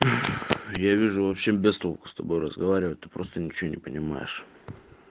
я вижу вообще без толку с тобой разговаривать ты просто ничего не понимаешь